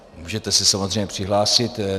Můžete se samozřejmě přihlásit.